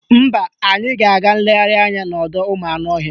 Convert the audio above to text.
Mba, anyị ga-aga nlegharị anya n'ọdọụmụanụọhịa